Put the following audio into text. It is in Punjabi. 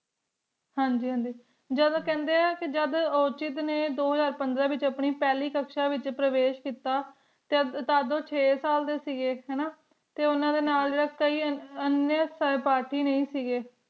ਹਨ ਜੀ ਹਨ ਜੀ ਜਾਦੁਨ ਕਿੰਡੀ ਆਂ ਜਾਦੁਨ ਓਜਿਦ ਨਯਨ ਦੋ ਹਜ਼ਾਰ ਪੰਦਰਾਂ ਵੇਚ ਆਪਣੀ ਫਲੀ ਕਕਸ਼ ਵੇਚ ਪਰਵੇਸ਼ ਕੀਤਾ ਤਦ ਊ ਚੇ ਸਾਲ ਡੀ ਸੇ ਗੀ ਹਨ ਨਾ ਟੀ ਉਨਾ ਡੀ ਨਾਲ